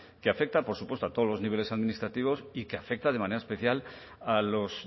que afecta por supuesto a todos los niveles administrativos y que afecta de manera especial a los